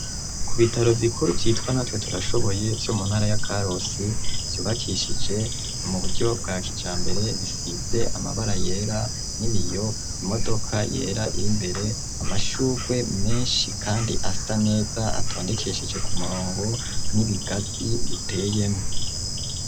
Ku bitaro bikuru vyitwa natwe turashoboye vyo muntara ya karusi vyubakishije mu buryo bwa kijambere ,bisize amabara yera ,n'ibiyo ,imodoka yera iri mbere ,amashugwe menshi kandi asa neza atondekesheje ku murongo n'ibigazi biteyemwo.